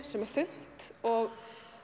sem er þunnt og